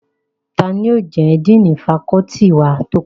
Tani yóò jẹ́ díìnì fakọ́ọ́tì wa tó kàn?